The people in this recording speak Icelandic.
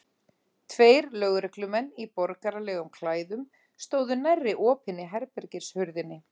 Tveir lögreglumenn í borgaralegum klæðum stóðu nærri opinni herbergishurðinni.